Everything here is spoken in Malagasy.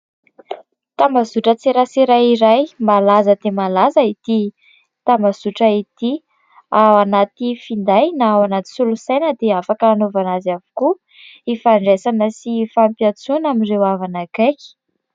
Tambazotran-tserasera iray. Malaza dia malaza ity tambazotra ity. Ao anaty finday na ao anaty solosaina dia afaka hanaovana azy avokoa, hifandraisana sy hifampiantsoana amin'ireo havana akaiky.